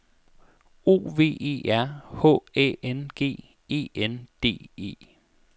O V E R H Æ N G E N D E